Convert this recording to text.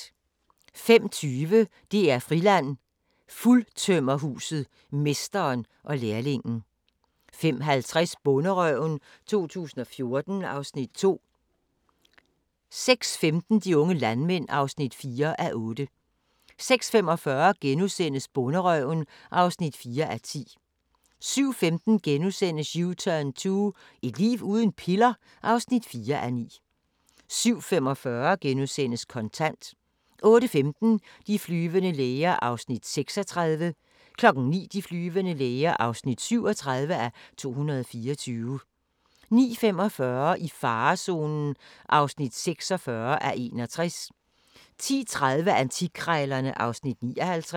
05:20: DR-Friland: Fuldtømmerhuset – mesteren og lærlingen 05:50: Bonderøven 2014 (Afs. 2) 06:15: De unge landmænd (4:8) 06:45: Bonderøven (4:10)* 07:15: U-turn 2 – et liv uden piller? (4:9)* 07:45: Kontant * 08:15: De flyvende læger (36:224) 09:00: De flyvende læger (37:224) 09:45: I farezonen (46:61) 10:30: Antikkrejlerne (Afs. 59)